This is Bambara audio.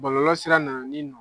Bɔlɔlɔ sira na na ni